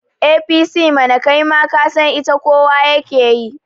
APC mana, kai ma kasan ita kowa yake yi